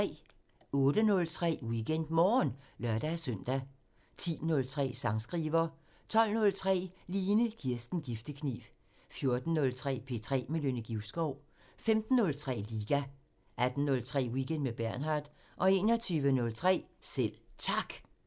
08:03: WeekendMorgen (lør-søn) 10:03: Sangskriver 12:03: Line Kirsten Giftekniv 14:03: P3 med Nynne Givskov 15:03: Liga 18:03: Weekend med Bernhard 21:03: Selv Tak